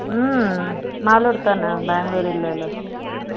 ம் மாலோடு தானே bangalore இல்லை இல்ல ம் ம் இன்னும் என்னம்மா ம்